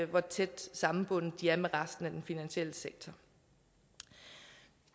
hvor tæt sammenbundet de er med resten af den finansielle sektor